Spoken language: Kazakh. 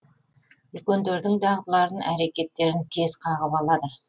үлкендердің дағдыларын әрекеттерін тез қағып алады